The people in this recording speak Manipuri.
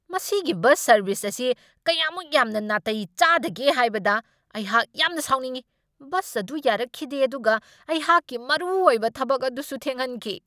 ꯃꯁꯤꯒꯤ ꯕꯁ ꯁꯔꯕꯤꯁ ꯑꯁꯤ ꯀꯌꯥꯝꯃꯨꯛ ꯌꯥꯝꯅ ꯅꯥꯇꯩ ꯆꯥꯗꯒꯦ ꯍꯥꯏꯕꯗ ꯑꯩꯍꯥꯛ ꯌꯥꯝꯅ ꯁꯥꯎꯅꯤꯡꯢ ꯫ ꯕꯁ ꯑꯗꯨ ꯌꯥꯔꯛꯈꯤꯗꯦ ꯑꯗꯨꯒ ꯑꯩꯍꯥꯛꯀꯤ ꯃꯔꯨꯑꯣꯏꯕ ꯊꯕꯛ ꯑꯗꯨꯁꯨ ꯊꯦꯡꯍꯟꯈꯤ ꯫